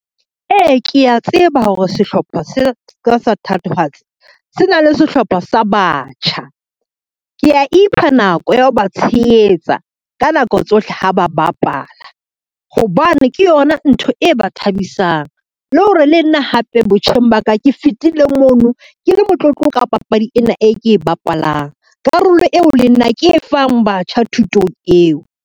Ee, kea tseba hore sehlopha sa ka sa thatohatsi se na le sehlopha sa batjha. Ke a ipha nako ya ho ba tshehetsa ka nako tsohle ha ba bapala, hobane ke yona ntho e ba thabisang. Le hore le nna hape botjheng ba ka ke fetile mona ke le motlotlo ka papadi ena e ke e bapalang, karolo eo le nna ke e fang batjha thutong eo.